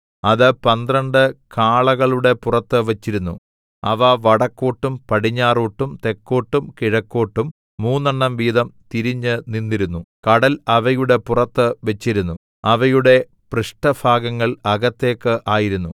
അത് പന്ത്രണ്ട് കാളകളുടെ പുറത്ത് വച്ചിരുന്നു അവ വടക്കോട്ടും പടിഞ്ഞാറോട്ടും തെക്കോട്ടും കിഴക്കോട്ടും മൂന്നെണ്ണം വീതം തിരിഞ്ഞുനിന്നിരുന്നു കടൽ അവയുടെ പുറത്ത് വച്ചിരുന്നു അവയുടെ പൃഷ്ടഭാഗങ്ങൾ അകത്തേക്ക് ആയിരുന്നു